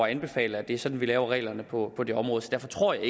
anbefaler det er sådan vi lave reglerne på området derfor tror jeg